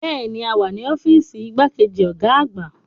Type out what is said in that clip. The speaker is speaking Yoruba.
Bẹ́ẹ̀ni, a wà ní ọ́fíìsì igbákejì ọ̀gá àgbà.